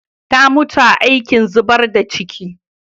Ta mutu a cikin aikin zubar da ciki.